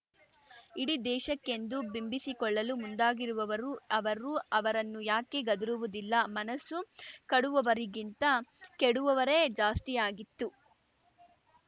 ಇಡೀ ದೇಶಕೆಂದು ಬಿಂಬಿಸಿಕೊಳ್ಳಲು ಮುಂದಾಗಿರುವವರು ಅವರು ಅವರನ್ನು ಯಾಕೆ ಗದರುವುದಿಲ್ಲ ಮನಸ್ಸು ಕಡುವವರಿಗಿಂತ ಕೆಡುವವರೇ ಜಾಸ್ತಿಯಾಗಿತ್ತು